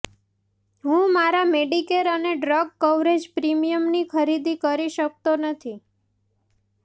હું મારા મેડિકેર અને ડ્રગ કવરેજ પ્રીમિયમની ખરીદી કરી શકતો નથી